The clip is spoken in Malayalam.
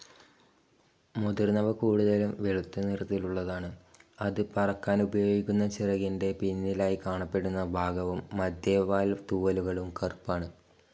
മുതിർന്നവ കൂടുതലും വെളുത്ത നിറത്തിലുള്ളതാണ്, അത് പറക്കാനുപയോഗിക്കുന്ന ചിറകിന്റെ പിന്നിലായി കാണപ്പെടുന്ന ഭാഗവും മദ്ധ്യേ ടെയിൽ തൂവലുകളും കറുപ്പാണ്.